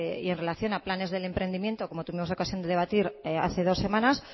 y en relación a planes del emprendimiento como tuvimos ocasión de debatir hace dos semanas